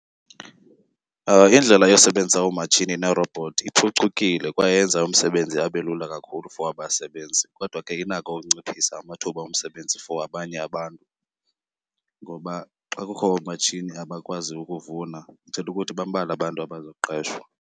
Indlela yosebenzisa oomatshini neerobhothi iphucukile kwaye yenza umsebenzi abe lula kakhulu for abasebenzi. Kodwa ke inako ukunciphisa amathuba omsebenzi for abanye abantu, ngoba xa kukho oomatshini abakwazi ukuvuna ithetha ukuthi bambalwa abantu abazoqeshwa.